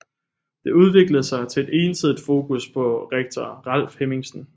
Det udviklede sig til et ensidigt fokus på rektor Ralf Hemmingsen